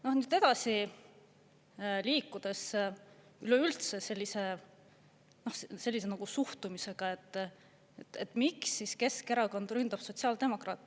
Ja siit edasi liikudes, üleüldse sellise suhtumisega, et miks Keskerakond siis ründab sotsiaaldemokraate.